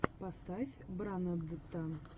поставь брандта